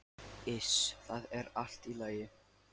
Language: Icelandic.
Iss, það er allt í lagi.